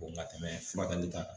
ka tɛmɛ furakɛli kan